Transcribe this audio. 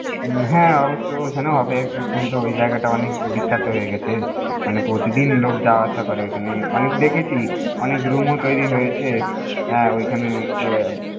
হ্যা অবশ্য অখানে হবেএখন তো ওই জায়গাটা অনেক বিখ্যাত হয়ে গেছেমানে প্রতিদিন লোক যাওয়া আসা করে অনেক দেখেছি অনেক রুম ও তৈরি হয়ছে